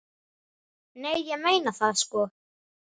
Nei, ég meina það, sko.